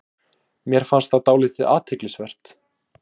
Mér fannst það dálítið athyglisvert